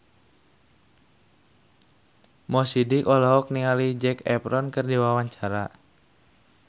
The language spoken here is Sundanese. Mo Sidik olohok ningali Zac Efron keur diwawancara